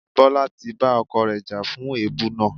Bola ti bá ọkọ rẹ̀ jà fún èébú náà.